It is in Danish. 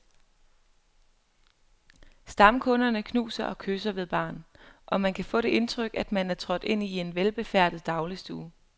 Stamkunderne knuser og kysser ved baren, og man kan få det indtryk, at man er trådt ind i en velbefærdet dagligstue.